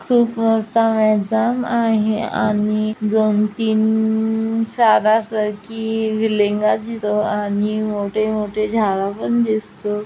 खुप मोठे मैदान आहे आणि दोन तीन साधासरकी दिसतो आणि मोठेमोठे झाड पण दिसतो.